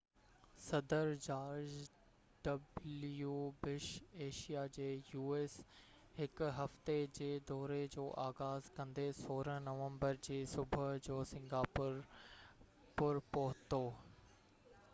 u.s. صدر George W Bush Asia جي هڪ هفتي جي دوري جو آغاز ڪندي 16 نومبر جي صبح جو سنگاپور پور پهتو